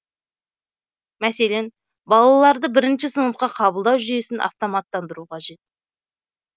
мәселен балаларды бірінші сыныпқа қабылдау жүйесін автоматтандыру қажет